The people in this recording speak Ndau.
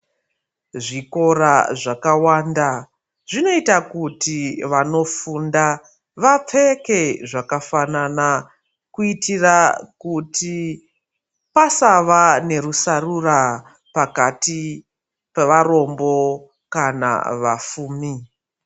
Zvikora zvakawanda zvinoita kuti vanofunda vapfeke zvakafanana kuitira kuti pasava nerusarura pakati pevarombo kana vafumi.